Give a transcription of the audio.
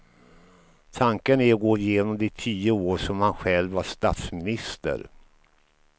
Tanken är att gå genom de tio år som han själv var statsminister.